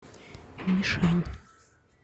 мишань